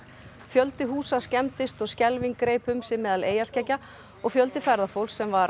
fjöldi húsa skemmdist og skelfing greip um sig meðal eyjarskeggja og fjölda ferðafólks sem var